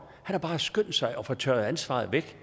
han har bare skyndt sig at få taget ansvaret væk